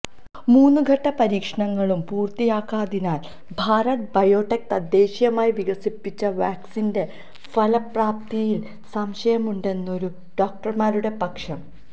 മൂന്നുഘട്ട പരീക്ഷണങ്ങളും പൂര്ത്തിയാകാത്തതിനാല് ഭാരത് ബയോടെക് തദ്ദേശീയമായി വികസിപ്പിച്ച വാക്സിന്റെ ഫലപ്രാപ്തിയില് സംശയമുണ്ടെന്നാണു ഡോക്ടര്മാരുടെ പക്ഷം